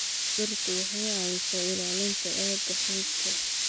Dhirtu waxay caawisaa ilaalinta aagga xeebta.